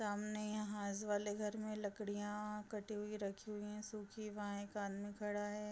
सामने यहाँ आस वाले घर मे लकड़ियां कटी हुई रखी हुई है सुखी वहाँ एक आदमी खड़ा है ।